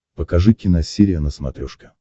покажи киносерия на смотрешке